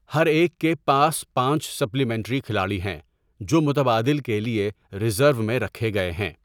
ہر ایک کے پاس پانچ سپلیمنٹری کھلاڑی ہیں جو متبادل کے لیے ریزرو میں رکھے گئے ہیں۔